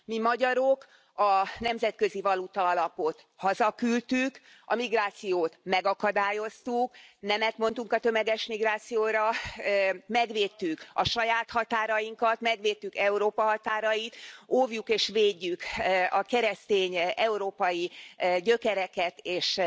Mi magyarok a Nemzetközi Valutaalapot hazaküldtük, a migrációt megakadályoztuk, nemet mondtunk a tömeges migrációra, megvédtük a saját határainkat, megvédtük Európa határait, óvjuk és védjük a keresztény európai gyökereket és